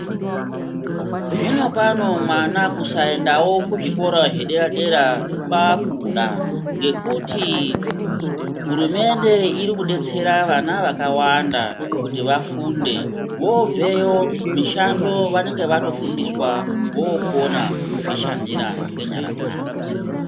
Zvinopano mwana kusayendawo kuzvikora zvederadera kwakuda. Ngekuti hurumende irikudetsera vana vakawanda kuti vafunde. Vobveyo mishando vanenge vatofundiswa vokona kuzvishandira nenyara dzavo.